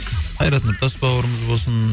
қайрат нұртас бауырымыз болсын